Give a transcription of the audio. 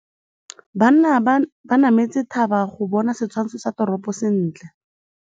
Banna ba nametse thaba go bona setshwantsho sa toropô sentle.